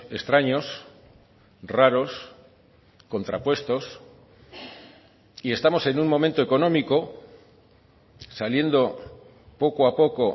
extraños raros contrapuestos y estamos en un momento económico saliendo poco a poco